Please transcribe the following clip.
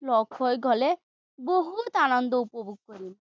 লগহৈ গ'লে, বহুত আনন্দ উপভোগ কৰিম।